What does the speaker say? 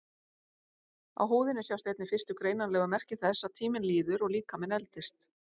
Á húðinni sjást einnig fyrstu greinanlegu merki þess að tíminn líður og líkaminn eldist.